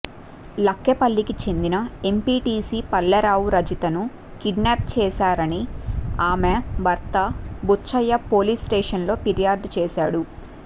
లక్నెపల్లికి చెందిన ఎంపీటీసీ వల్లెరావు రజితను కిడ్నాప్ చేశా రని ఆమె భర్త బుచ్చయ్య పోలీస్స్టేషన్లో ఫిర్యాదు చేశాడు